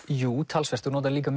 talsvert og nota líka